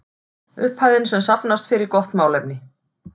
Upphæðin sem safnast fer í gott málefni.